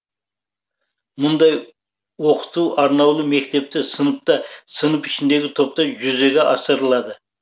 мұндай оқыту арнаулы мектепте сыныпта сынып ішіндегі топта жүзеге асырылады